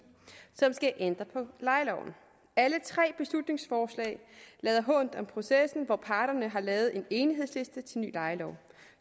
som skal ændre på lejeloven alle tre beslutningsforslag lader hånt om processen hvor parterne har lavet en enighedsliste til ny lejelov